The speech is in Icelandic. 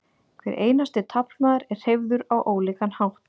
hver einasti taflmaður er hreyfður á ólíkan hátt